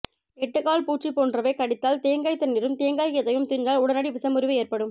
எட்டுகால் பூச்சி போன்றவை கடித்தால் தேங்காய் தண்ணிரும் தேங்காய்கீத்தையும் தின்றால் உடனடி விசமுறிவு ஏற்படும்